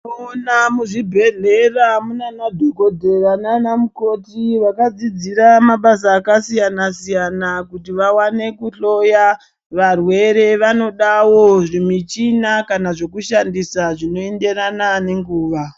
Unoona muzvibhedhlera munanana dhokodheya nana mukoti vakadzidzira mabasa akasiyana-siyana kuti vawane kuhloya varwere vanodawo zvimichina kana zvekushandisa zvinoenderana nenguwa.